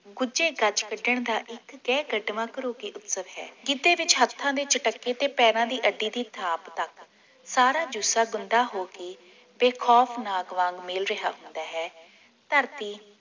ਗੁਜੇ ਗੱਜ ਵੱਜਣ ਦਾ ਇਕ ਗਹਿ ਕਡ਼ਵਾਂ ਘਰੁਕੀ ਉਤਸਵ ਹੈ ਗਿੱਧੇ ਵਿਚ ਹਥਾਂ ਦੇ ਚਟੱਕੇ ਤੇ ਪੈਰਾਂ ਦੀ ਅੱਡੀ ਦੀ ਥਾਪ ਤੱਕ ਸਾਰਾ ਜੁੱਸਾ ਗੁੰਦਾ ਹੋ ਕੇ ਬੇਖੌਫ ਨਾਗ ਵਾਂਗ ਮੇਲ ਰਿਹਾ ਹੁੰਦਾ ਹੈ ਧਰਤੀ